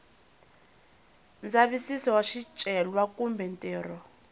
ndzavisiso wa swicelwa kumbe ntirho